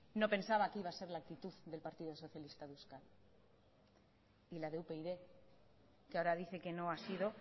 no pensaba que iba a ser la actitud del partido socialista de euskadi ni la de upyd que ahora dice que no ha sido